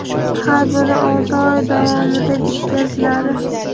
har biri olti oy davomida bitkaziladi.